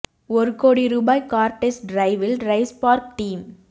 ஒரு கோடி ரூபாய் கார் டெஸ்ட் டிரைவில் டிரைவ்ஸ்பார்க் டீம்